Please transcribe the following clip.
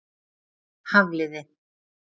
Hafliði